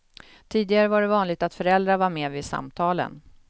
Tidigare var det vanligt att föräldrar var med vid samtalen.